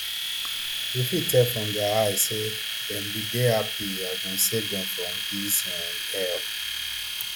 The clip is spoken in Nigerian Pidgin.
we fit tell from dia eyes say dem bin dey happy as dem save dem from dis um hell